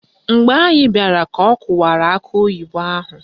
Mgbe anyị bịara ka ọ kụwara akị oyibo ahụ